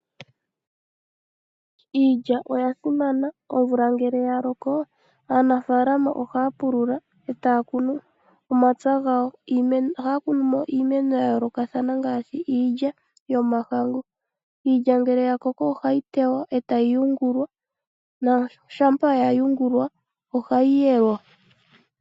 Iilya oya simana. Omvula ngele ya loko aantu ohaa pulula e taa kunu omapya gawo. Ohaya kunu mo iimeno ya yoolokathana ngaashi iilya yomahangu. Iilya ngele ya koko ohayi teywa e tayi yungulwa, shampa ya ya yungulwa ohayi yelwa.